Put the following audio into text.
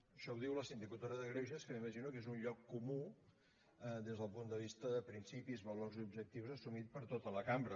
això ho diu la sindicatura de greuges que m’imagino que és un lloc comú des del punt de vista de principis valors i objectius assumit per tota la cambra